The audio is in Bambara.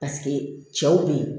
cɛw be yen